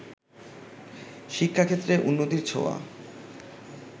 শিক্ষাক্ষেত্রে উন্নতির ছোঁয়া